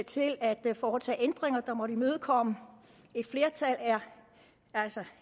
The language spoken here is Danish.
til at foretage ændringer der måtte imødekomme et flertal er altså